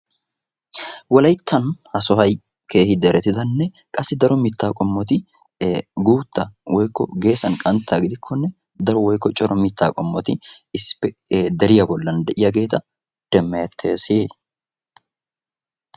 wolayttan ha sohay keehi deretidanne qassi daro mitaa qommoti guutaa geessan qantta gidikkonne deriya bolan de'iyageta demeetees.